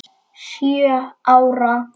Sjö ára.